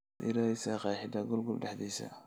maad ii raadhisa qeexid google dahdis